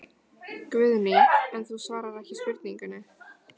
Guðný: En þú svarar ekki spurningunni?